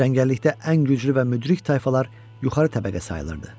Cəngəllikdə ən güclü və müdrik tayfalar yuxarı təbəqə sayılırdı.